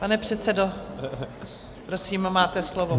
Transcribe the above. Pane předsedo, prosím, máte slovo.